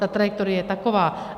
Ta trajektorie je taková.